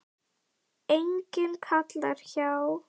Enginn kall hjá